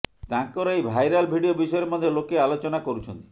ତାଙ୍କର ଏହି viral video ବିଷୟରେ ମଧ୍ୟ ଲୋକେ ଆଲୋଚନା କରୁଛନ୍ତି